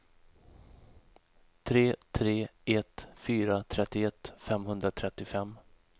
tre tre ett fyra trettioett femhundratrettiofem